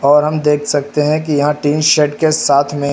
और हम देख सकते हैं कि यहां टीन सेट के साथ में--